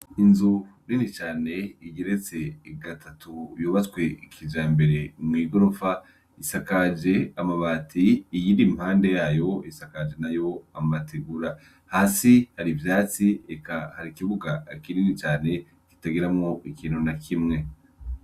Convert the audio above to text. Inzu nini cane igeretse gatatu yubatswe kijambere mw'igorofa. Isakaje amabati, iyindi impande yayo isakaje nayo amategura. Hasi har'ivyatsi, eka hari ikibuga kinini cane kitagiramwo ikintu na kimwe.